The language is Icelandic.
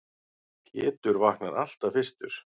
Pétur vaknar alltaf fyrstur.